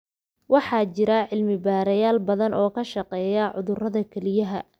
Waxaa jira cilmi-baarayaal badan oo ka shaqeeya cudurrada kelyaha.